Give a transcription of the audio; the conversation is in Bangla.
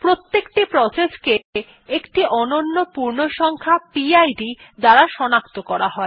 প্রত্যেকটি প্রসেসকে একটি অনন্য পূর্ণসংখ্যা পিড দ্বারা সনাক্ত করা হয়